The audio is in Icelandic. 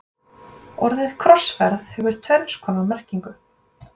Orðið krossferð hefur tvenns konar merkingu.